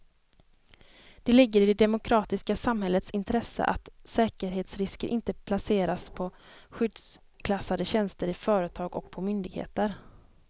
Det ligger i det demokratiska samhällets intresse att säkerhetsrisker inte placeras på skyddsklassade tjänster i företag och på myndigheter.